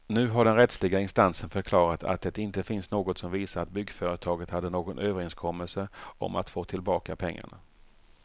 Nu har den rättsliga instansen förklarat att det inte finns något som visar att byggföretaget hade någon överenskommelse om att få tillbaka pengarna.